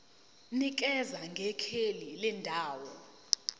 nikeza ngekheli lendawo